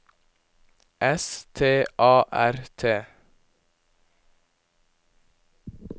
S T A R T